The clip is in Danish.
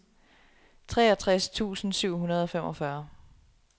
treogtres tusind syv hundrede og femogfyrre